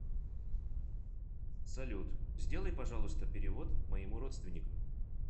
салют сделай пожалуйста перевод моему родственнику